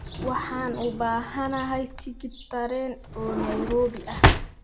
Waxaan u baahanahay tigidh tareen oo Nairobi ah